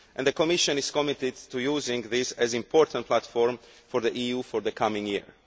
The Commission is committed to using this as an important platform for the EU for the coming year.